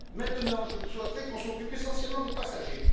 dix ans. Maintenant, je souhaiterais qu'on s'occupe essentiellement des